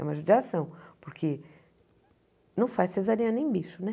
É uma judiação, porque não faz cesariana em bicho, né?